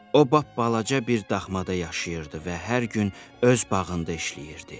O balaca bir daxmada yaşayırdı və hər gün öz bağında işləyirdi.